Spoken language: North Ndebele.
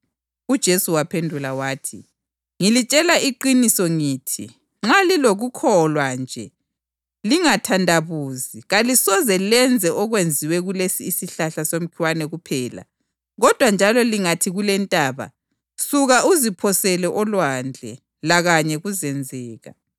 UJesu waphendula wathi, “Ngilitshela iqiniso ngithi nxa lilokukholwa njalo lingathandabuzi, kalisoze lenze okwenziwe kulesi isihlahla somkhiwa kuphela kodwa njalo lingathi kule intaba, ‘Suka, uziphosele olwandle,’ lakanye kuzenzeka.